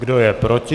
Kdo je proti?